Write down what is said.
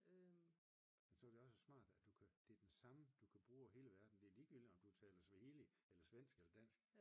Så er det jo også smart at du kan at det er den samme du kan bruge i hele verden det er lige meget om du taler swahili eller svensk eller dansk